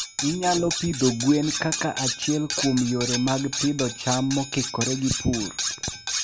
Inyalo pidho gwen kaka achiel kuom yore mag pidho cham mokikore gi pur.